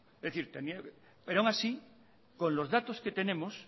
pero aún así con los datos que tenemos